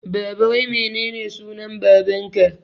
Baba wai menene sunan baban ka?